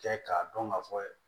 Kɛ k'a dɔn ka fɔ